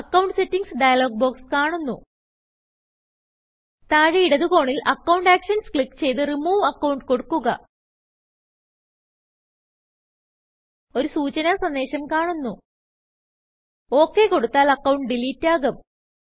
account settings dialog box കാണുന്നു താഴെ ഇടത് കോണിൽ അക്കൌണ്ട് Actionsക്ലിക്ക് ചെയ്ത് റിമൂവ് Accountകൊടുക്കുക ഒരു സൂചന സന്ദേശം കാണുന്നു OKകൊടുത്താൽ അക്കൌണ്ട് ഡിലീറ്റ് ആകും